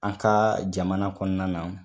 An ka jamana kɔnɔna na.